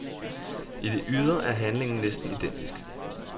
I det ydre er handlingen næsten identisk.